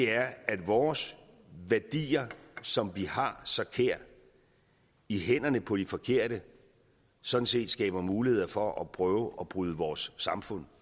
er at vores værdier som vi har så kære i hænderne på de forkerte sådan set skaber muligheder for at prøve at bryde vores samfund